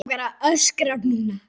Mig langar að öskra núna.